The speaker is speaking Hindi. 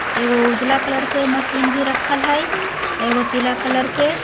एगो उजाला कलर के मशीन भी रखल है एगो पिला कलर के